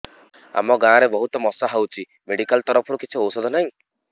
ଆମ ଗାଁ ରେ ବହୁତ ମଶା ହଉଚି ମେଡିକାଲ ତରଫରୁ କିଛି ଔଷଧ ନାହିଁ